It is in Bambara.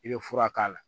I bɛ fura k'a la